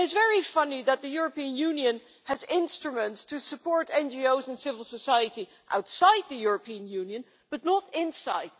It is very funny that the European Union has instruments to support NGOs and civil society outside the European Union but not inside.